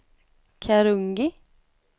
Karungi